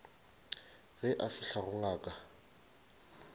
ge a fihla go ngaka